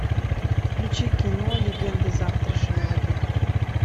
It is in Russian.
включи кино легенды завтрашнего дня